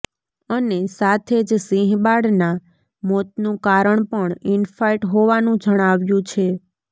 અને સાથે જ સિંહબાળના મોતનું કારણ પણ ઈનફાઈટ હોવાનું જણાવ્યું છે